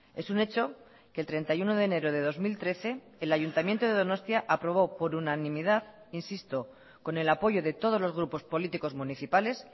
es un hecho que el treinta y uno de enero de dos mil trece el ayuntamiento de donostia aprobó por unanimidad insisto con el apoyo de todos los grupos políticos municipales